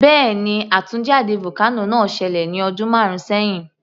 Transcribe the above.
Bẹ́ẹ̀ni, àtúnjáde vocano náà ṣẹlẹ̀ ní ọdún márùn sẹhin